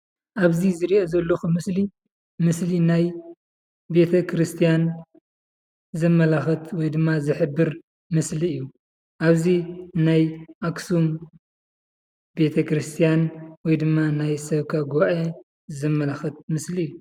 ኣብዚ ዝርእዮ ዘለኩ ምስሊ ምስሊ ናይ ቤተ ክርስትያን ዘመላክት ወይድማ ዝሕበር ምስሊ እዩ። ኣብዚ ናይ ኣክሱም ቤተክርስትያን ወይድማ ናይ ሰበካ ጉባኤ ዘመላክት ምስሊ እዩ።